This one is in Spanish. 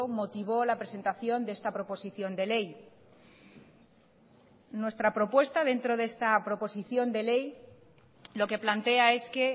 motivó la presentación de esta proposición de ley nuestra propuesta dentro de esta proposición de ley lo que plantea es que